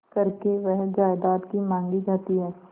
करके वह जायदाद ही मॉँगी जाती है